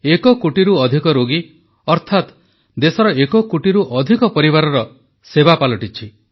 ଏକ କୋଟିରୁ ଅଧିକ ରୋଗୀ ଅର୍ଥାତ୍ ଦେଶର ଏକ କୋଟିରୁ ଅଧିକ ପରିବାରର ସେବା ହୋଇଛି